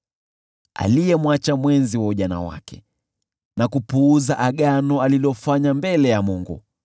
aliyemwacha mwenzi wa ujana wake na kupuuza agano alilofanya mbele ya Mungu.